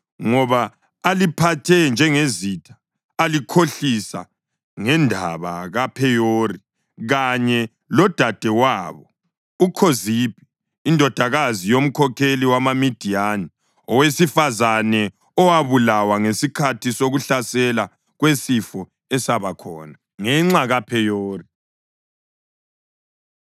ngoba aliphathe njengezitha alikhohlisa ngendaba kaPheyori kanye lodadewabo uKhozibhi indodakazi yomkhokheli wamaMidiyani, owesifazane owabulawa ngesikhathi sokuhlasela kwesifo esabakhona ngenxa kaPheyori.”